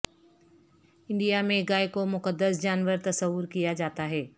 India میں گائے کو مقدس جانور تصور کیا جاتا ہے